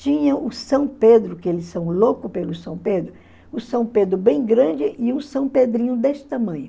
Tinha o São Pedro, que eles são louco pelo São Pedro, o São Pedro bem grande e o São Pedrinho desse tamanho.